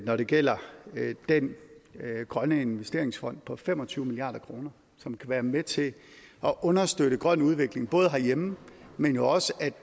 når det gælder den grønne investeringsfond på fem og tyve milliard kr som kan være med til at understøtte grøn udvikling herhjemme men jo også